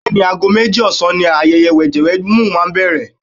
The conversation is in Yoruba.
Bẹ́ẹ̀ni, ago méjì ọ̀sán ni ayẹyẹ wẹ̀jẹwẹ̀mu máa bẹ̀rẹ̀.